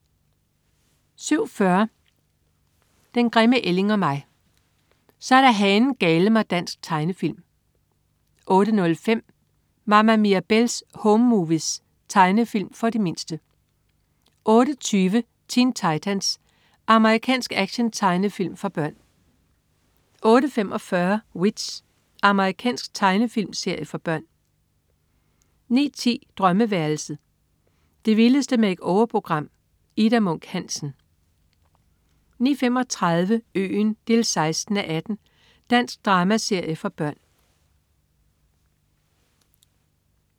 07.40 Den grimme ælling og mig. Så er der hanen-gale-mig dansk tegnefilm 08.05 Mama Mirabelle's Home Movies. Tegnefilm for de mindste 08.20 Teen Titans. Amerikansk actiontegnefilm for børn 08.45 W.i.t.c.h. Amerikansk tegnefilmserie for børn 09.10 Drømmeværelset. Det vildeste make-over-program. Ida Munk Hansen 09.35 Øen 16:18. Dansk dramaserie for børn